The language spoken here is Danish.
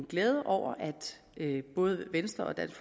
glæde over at både venstre og dansk